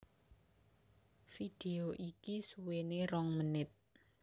Vidéo iki suwéné rong menit